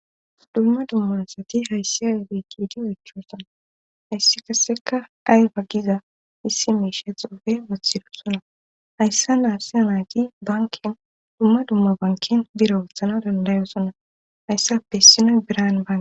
dumma dumma asati hayssiyayo giigidi oyichossona hayssi qasseka ayba ggiza issi misha xuufe wathirosona hayssa ne haysa naati banken dumma dumma bankin bira woothana dandayosona hayssappe isinoy biran banke